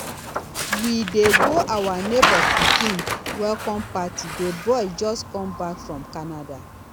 we dey go our neighbor pikin welcome party the boy just come back from canada